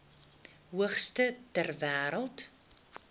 hoogste ter wêreld